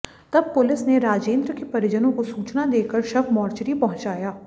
तब पुलिस ने राजेंद्र के परिजनों को सूचना देकर शव मोर्चरी पहुंचाया